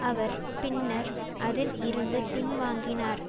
அவர் பின்னர் அதில் இருந்து பின்வாங்கினார்